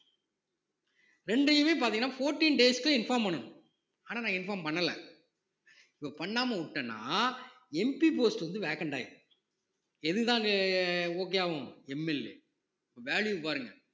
இரண்டையுமே பார்த்தீங்கன்னா fourteen days க்கு inform பண்ணணும் ஆனால் நான் inform பண்ணல இப்ப பண்ணாம விட்டேன்னா MPpost வந்து vacant ஆயிடும் எதுதான் எ எ okay ஆகும் MLAvalue பாருங்க